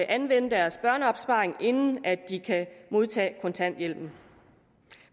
anvende deres børneopsparing inden de kan modtage kontanthjælpen